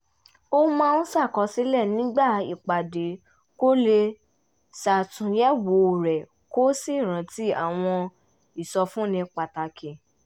ó máa ń ṣàkọsílẹ̀ nígbà ìpàdé kó lè ṣàtúnyẹ̀wò rẹ̀ kó sì rántí àwọn ìsọfúnni pàtàkì